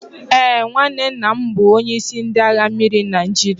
Ee, nwanne nna m bụ onyeisi ndị agha mmiri Naijiria